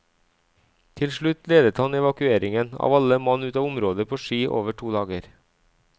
Til slutt ledet han evakueringen av alle mann ut av området på ski over to dager.